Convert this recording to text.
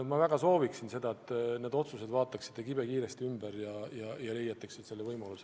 Ma väga soovin, et vaataksite need otsused kibekiiresti üle ja leiaksite selle võimaluse.